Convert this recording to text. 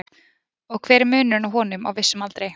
og hver er munurinn á honum á vissum aldri